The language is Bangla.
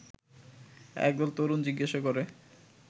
একদল তরুণ জিজ্ঞাসা করে